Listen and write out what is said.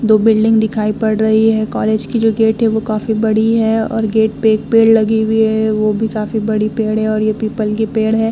दो बिल्डिंग दिखाई पड़ रही है। कॉलेज की जो गेट है वो काफी बड़ी है और गेट पे एक पेड़ लगी हुई है वो भी काफी बड़ी पेड़ है और ये पीपल के पेड़ है।